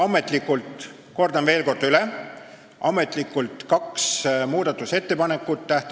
Ametlikult, kordan veel üle, tuli tähtaja jooksul kaks muudatusettepanekut.